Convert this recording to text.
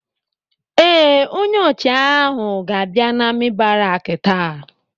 Ee, onye ọchịagha ahụ ga-abịa n'amị̀ baraki taa.